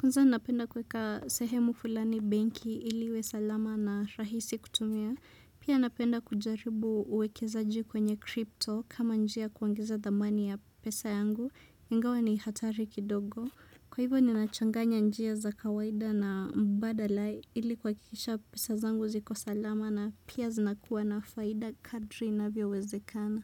Kwanza napenda kuweka sehemu fulani banki ili iwe salama na rahisi kutumia. Pia napenda kujaribu uwekezaji kwenye crypto kama njia ya kuongeza dhamani ya pesa yangu. Ingawa ni hatari kidogo. Kwa hivyo ninachanganya njia za kawaida na mbadala ili kuhakikisha pesa zangu ziko salama na pia zinakuwa na faida kadri inavyowezekana.